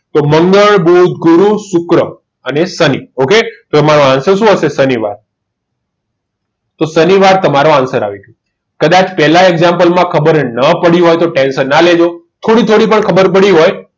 તો મંગળ બુધ ગુરુ શુક્ર અને સની okay તમારો answer શું હશે શનિવાર તો શનિવાર તમારો answer આવી ગયો. કદાચ પહેલા example માં ખબર ના પડી હોય તો ટેન્શન ના લેજો. થોડી થોડી પણ ખબર પડી હોય